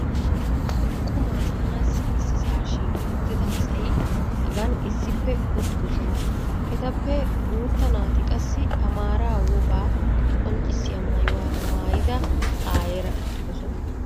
Qumaa maanassi issisaa shiiqi uttida asay hagan issippe uttidosona. Etappe guutta naati qassi amaaraa wogaa qonccissiya maayuwa maayida ayeera uttidosona